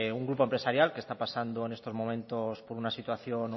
un grupo empresarial que está pasando en estos momentos por una situación